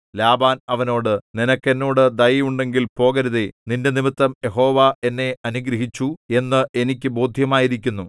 Laban അവനോട് നിനക്ക് എന്നോട് ദയ ഉണ്ടെങ്കിൽ പോകരുതേ നിന്റെനിമിത്തം യഹോവ എന്നെ അനുഗ്രഹിച്ചു എന്ന് എനിക്ക് ബോദ്ധ്യമായിരിക്കുന്നു